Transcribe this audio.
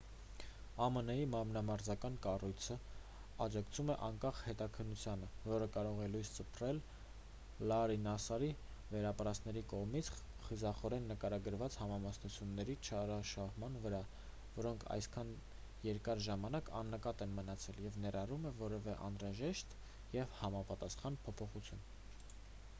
ամն-ի մարմնամարզական կառույցն աջակցում է անկախ հետաքննությանը որը կարող է լույս սփռել լարրի նասսարի վերապրածների կողմից խիզախորեն նկարագրված համամասնությունների չարաշահման վրա որոնք այսքան երկար ժամանակ աննկատ են մնացել և ներառում է որևէ անհրաժեշտ և համապատասխան փոփոխություն